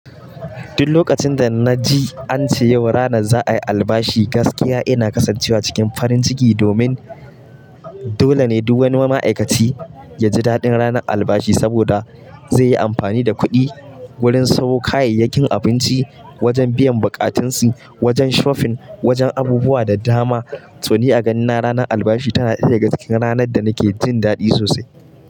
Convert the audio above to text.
Duk lokacin da na ji an ce yau rana za a yi albashi, gaskiya ina kasancewa cikin farin ciki domin dole ne duk wani ma'aikaci ya ji daɗin ranar albashi saboda zai yi amfani da kuɗi wurin samo kayayyakin abinci, wajen biyan bukatunsi, wajen shofin wajen abubuwa da dama. To ni a gani na ranar albashi tana ɗaya daga cikin ranar da nake jin daɗi sosai.